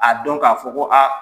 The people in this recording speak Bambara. A dɔn k'a fɔ ko aa